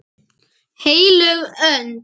HEILÖG ÖND